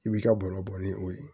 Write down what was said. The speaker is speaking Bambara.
I b'i ka balo bɔ ni o ye